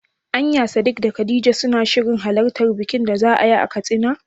Anya Sadik da khadija suna shirin halartar bikin da za'ayi a Katsina?